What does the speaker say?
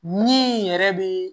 Min yɛrɛ be